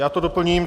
Já to doplním.